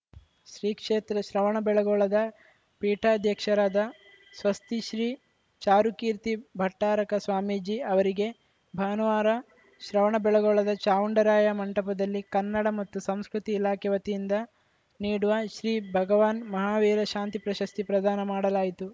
ಶ್ರೀ ಕ್ಷೇತ್ರ ಶ್ರವಣಬೆಳಗೊಳದ ಪೀಠಾಧ್ಯಕ್ಷರಾದ ಸ್ವಸ್ತಿಶ್ರೀ ಚಾರುಕೀರ್ತಿ ಭಟ್ಟಾರಕ ಸ್ವಾಮೀಜಿ ಅವರಿಗೆ ಭಾನುವಾರ ಶ್ರವಣಬೆಳಗೊಳದ ಚಾವುಂಡರಾಯ ಮಂಟಪದಲ್ಲಿ ಕನ್ನಡ ಮತ್ತು ಸಂಸ್ಕೃತಿ ಇಲಾಖೆ ವತಿಯಿಂದ ನೀಡುವ ಶ್ರೀ ಭಗವಾನ್‌ ಮಹಾವೀರ ಶಾಂತಿ ಪ್ರಶಸ್ತಿ ಪ್ರದಾನ ಮಾಡಲಾಯಿತು